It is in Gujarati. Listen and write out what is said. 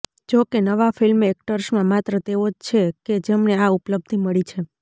જો કે નવા ફિલ્મ એક્ટર્સમાં માત્ર તેઓ જ છેકે જેમને આ ઉપલબ્ધી મળી છે